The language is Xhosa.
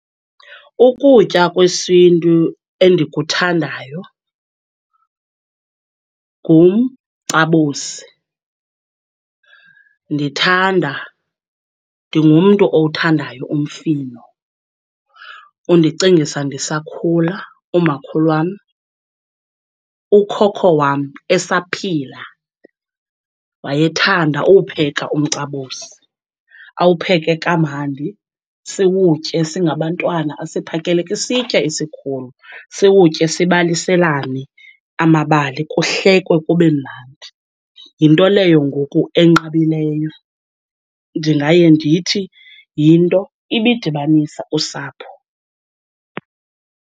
Ukutya kwesintu endikuthandayo ngumcabosi. Ndithanda, ndingumntu owuthandayo umfino, undicingisa ndisakhula. Umakhulu wam, ukhokho wam esaphila wayethanda uwupheka umcabosi. Awupheke kamandi siwutye singabantwana, asiphakele kwisitya esikhulu, siwutye sibaliselane amabali, kuhlekwe kube mnandi. Yinto leyo ngoku enqabileyo. Ndingaye ndithi, yinto ibidibanisa usapho.